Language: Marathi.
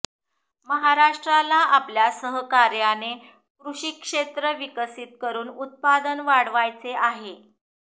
महाराष्ट्राला आपल्या सहकार्याने कृषी क्षेत्र विकसित करुन उत्पादन वाढवायचे आहे